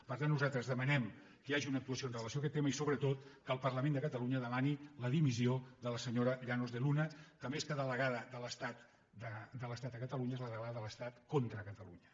per tant nosaltres demanem que hi hagi una actuació amb relació a aquest tema i sobretot que el parlament de catalunya demani la dimissió de la se·nyora llanos de luna que més que delegada de l’es·tat a catalunya és la delegada de l’estat contra cata·lunya